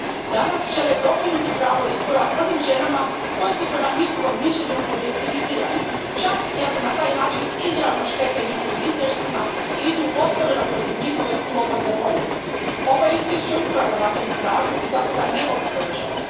Danas žele dokinuti pravo izbora onim ženama koje su, prema njihovom mišljenju, objektivizirane, čak i ako na taj način izravno štete njihovim interesima i idu otvoreno protiv njihove slobodne volje. Ovo je Izvješće upravo na tom tragu i zato ga ne mogu podržati.